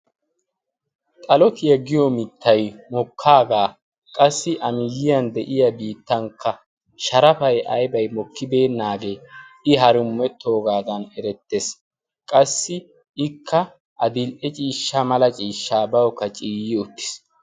Xalotiya giyo mittay mokkaagaa qassi a miyyiyan de7iya biittankka sharafay aybbay mokkibeennaagee i harummettoogaadan erettees. qassi ikka adil77e ciishsha mala ciishshaa bawukka ciiyi uttiis.